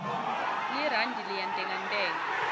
lirandi liyantengantenga